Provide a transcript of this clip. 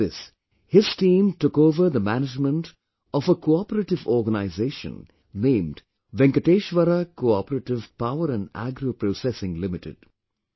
After this his team took over the management of a cooperative organization named Venkateshwara CoOperative Power &Agro Processing Limited